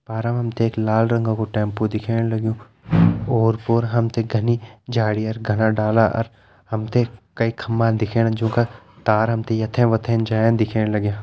पारा हम ते एक लाल रंगा कु टेम्पु दिखेण लग्युं ओर पोर हम ते घनि झाड़ी अर घना डाला अर हम ते कई खम्बा दिखेण जुं का तार हम ते यथें वथें जायां दिखेण लग्यां।